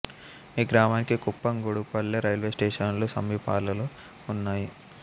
ఈ గ్రామానికి కుప్పం గుడుపల్లె రైల్వే స్టేషనులు సమీపములో ఉన్నాయి